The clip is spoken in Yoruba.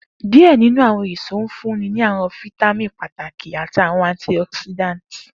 Diẹ ninu awọn eso nfunni awọn fitamini pataki ati awọn antioxidants